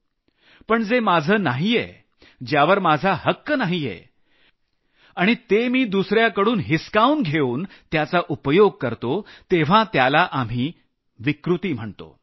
पण जे माझं नाहीये ज्यावर माझा हक्क नाहीये आणि ते मी दुसऱ्याकडून हिसकावून घेऊन त्याचा उपयोग करतो तेव्हा त्याला आम्ही विकृती म्हणू शकतो